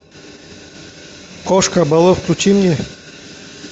кошка балу включи мне